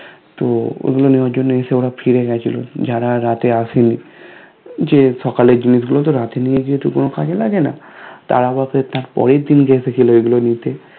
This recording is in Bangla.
তো ওগুলো নেয়ার জন্য এসে ওরা ফিরে গিয়েছিলো যারা রাতে আসেনি যে সকালের জিনিসগুলো তো রাতে নিয়ে যেহেতু কোনো কাজে লাগেনা তারা রাতে পরেরদিন গিয়েছিলো ওগুলো নিতে